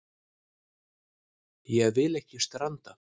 Ég vil ekki stranda.